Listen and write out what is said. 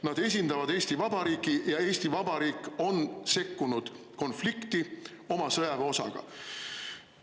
Nad esindavad Eesti Vabariiki ja Eesti Vabariik on sekkunud konflikti oma sõjaväeosaga.